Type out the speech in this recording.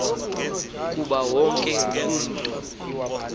kuba wonke umntu